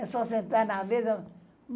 É só sentar na mesa.